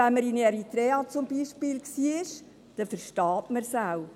Wenn man aber beispielsweise in Eritrea gewesen ist, versteht man es auch.